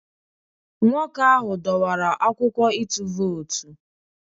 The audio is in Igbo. Nwoke ahụ dọwara akwụkwọ ịtụ vootu